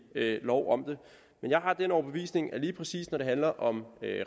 lov om det men jeg har den overbevisning at lige præcis når det handler om